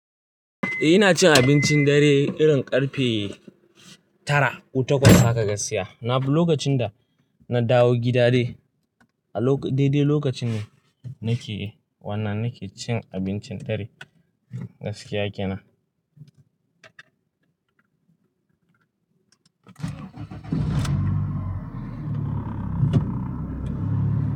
Eh ina cin abincin dare irin karfe tara, ko takwas haka gaskiya. Na duk lokacin da na dawo gida dai, a dai dai lokaci ne nake, wanna nake cin abincin dare gaskiya kenan.